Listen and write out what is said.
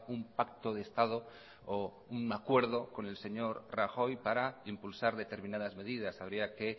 un pacto de estado o un acuerdo con el señor rajoy para impulsar determinadas medidas habría que